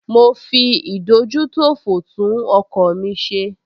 Mo fi ìdójútòfò tún ọkọ̀ mi ṣe